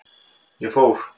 Ég fór.